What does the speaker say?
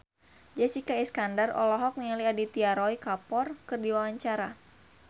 Jessica Iskandar olohok ningali Aditya Roy Kapoor keur diwawancara